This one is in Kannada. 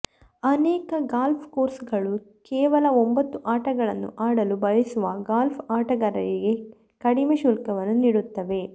ಅನೇಕ ಗಾಲ್ಫ್ ಕೋರ್ಸ್ಗಳು ಕೇವಲ ಒಂಬತ್ತು ಆಟಗಳನ್ನು ಆಡಲು ಬಯಸುವ ಗಾಲ್ಫ್ ಆಟಗಾರರಿಗೆ ಕಡಿಮೆ ಶುಲ್ಕವನ್ನು ನೀಡುತ್ತವೆ